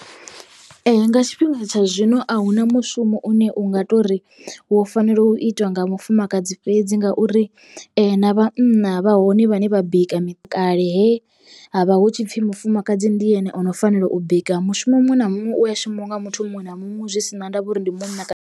Nga tshifhinga tsha zwino ahuna mushumo une unga tori wo fanela u itiwa nga mufumakadzi fhedzi ngauri na vhanna vha hone vhane vha bika kale he havha hu tshipfi mufumakadzi ndi ene ono fanela u bika mushumo muṅwe na muṅwe uya shumiwa nga muthu muṅwe na muṅwe zwi sina ndavha uri ndi munna kana.